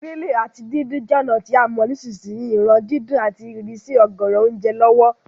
Grilling áti díndin je ònà to a mo nisínsìn yìí ran dídún àti ìsrísí ọ̀gọ̀rọ̀ ounje lọ̀wọ̀